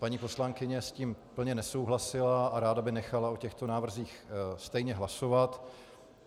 Paní poslankyně s tím úplně nesouhlasila a ráda by nechala o těchto návrzích stejně hlasovat.